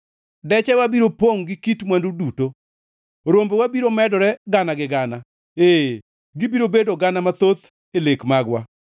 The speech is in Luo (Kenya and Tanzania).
Dechewa biro pongʼ gi kit mwandu duto. Rombewa biro medore gana gi gana, ee, gibiro bedo gana mathoth e lek magwa,